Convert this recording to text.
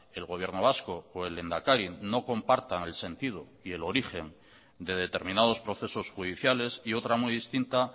el gobierno vasco o el lehendakari no compartan el sentido y el origen de determinados procesos judiciales y otra muy distinta